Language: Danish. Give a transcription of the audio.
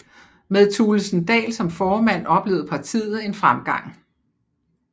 Med Thulesen Dahl som formand oplevede partiet en fremgang